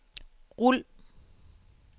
rul